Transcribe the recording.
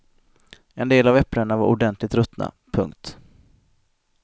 En del av äpplena var ordentligt ruttna. punkt